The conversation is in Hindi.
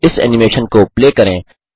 इस एनिमेशन को प्ले करें